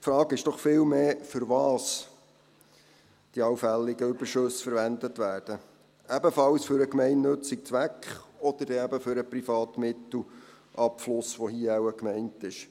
Die Frage ist doch vielmehr, wofür die allfälligen Überschüsse verwendet werden – ebenfalls für den gemeinnützigen Zweck oder dann für den Privatmittelabfluss, der hier wohl gemeint ist.